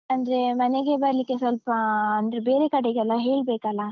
ಅಂದ್ರೆ ಮನೆಗೆ ಬರ್ಲಿಕ್ಕೆ ಸ್ವಲ್ಪಾ ಅಂದ್ರೆ ಬೇರೆ ಕಡೆಗೆ ಎಲ್ಲಾ ಹೇಳ್ಬೇಕಲ್ಲಾ?